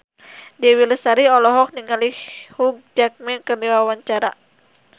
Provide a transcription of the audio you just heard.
Dewi Lestari olohok ningali Hugh Jackman keur diwawancara